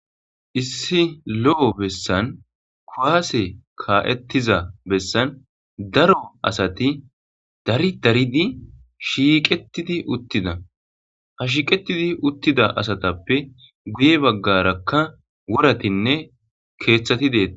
Issi lo7o bessan kuwaase kaa7ettiza bessan daro asati dari daridi shiiqettidi uttida ha shiiqetidi uttida asatappe guye baggarakka woratinne keeththati deeta.